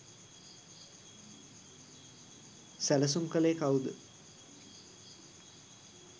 සැලසුම් කලේ කව්ද